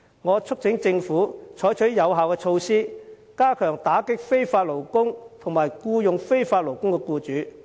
我促請政府採取有效的措施，加快打擊非法勞工及僱用非法勞工的僱主。